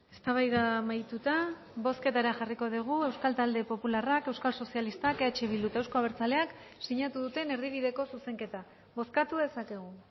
eztabaida amaituta bozketara jarriko dugu euskal talde popularrak euskal sozialistak eh bildu eta euzko abertzaleak sinatu duten erdibideko zuzenketa bozkatu dezakegu